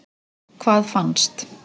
Hvað fannst?